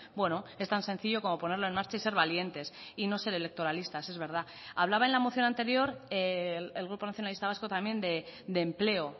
bueno es tan sencillo como ponerlo en marcha y ser valientes y no ser electoralistas es verdad hablaba en la moción anterior el grupo nacionalista vasco también de empleo